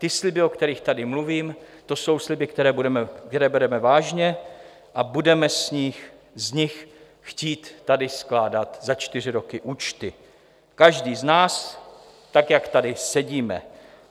Ty sliby, o kterých tady mluvím, to jsou sliby, které bereme vážně, a budeme z nich chtít tady skládat za čtyři roky účty - každý z nás, tak jak tady sedíme.